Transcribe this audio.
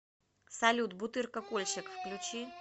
салют бутырка кольщик включи